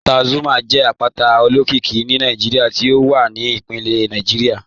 Àpátà Zuma jẹ àpátà òlókìíkí ní Nàìjíríà tí ó wà ní ìpínlẹ̀ Nàìjíríà